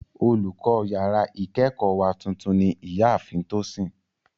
Olùkọ́ yàrá ìkẹ́kọ̀ọ́ wa tuntun ní ìyá ààfin Tosin